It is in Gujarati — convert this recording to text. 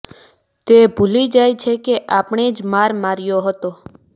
તે ભૂલી જાય છે કે આણે જ માર માર્યો હતો